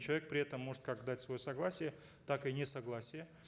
человек при этом может как дать свое согласие так и несогласие